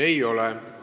Ei ole.